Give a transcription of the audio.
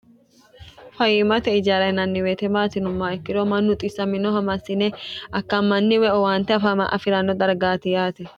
fayimate ijaara yinanni woyiite maati yinumoha ikkiro mannu xissaminoha massine akkammanni woyi owaante afi'ranno dargaati yaate.